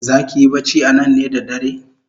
Zaki yi bacci anan ne da dare?